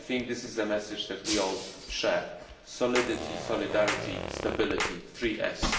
I think that this is the message that we all share solidity, solidarity, stability, three S's.